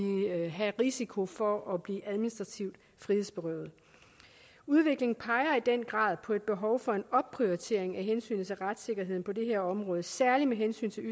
risiko for at blive administrativt frihedsberøvet udviklingen peger i den grad på et behov for en opprioritering af hensynet til retssikkerheden på det her område særlig med hensyn til